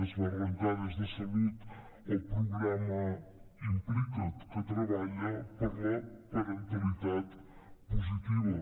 es va arrencar des de salut el programa implica’t que treballa per la parentalitat positiva